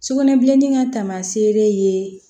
Sugunɛbilennin ka taamaseere ye